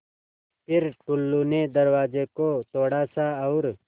फ़िर टुल्लु ने दरवाज़े को थोड़ा सा और